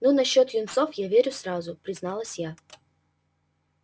ну насчёт юнцов я верю сразу призналась я